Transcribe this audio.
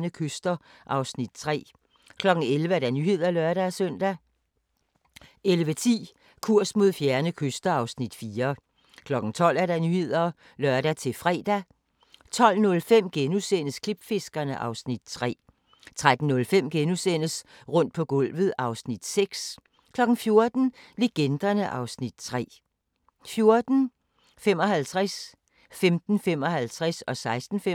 11:10: Kurs mod fjerne kyster (Afs. 4) 12:00: Nyhederne (lør-fre) 12:05: Klipfiskerne (Afs. 3)* 13:05: Rundt på gulvet (Afs. 6)* 14:00: Legenderne (Afs. 3) 14:55: Toppen af poppen 15:55: Toppen af poppen 16:55: Toppen af poppen 17:55: Dit sommervejr (lør-fre) 18:00: Nyhederne (lør-fre)